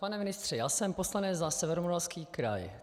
Pane ministře, já jsem poslanec za Severomoravský kraj.